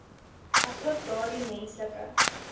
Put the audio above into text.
asook daardie menslike